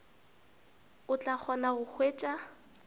o tla kgona go hwetša